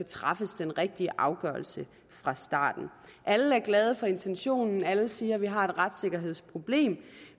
træffe den rigtige afgørelse fra starten alle er glade for intentionen alle siger at vi har et retssikkerhedsproblem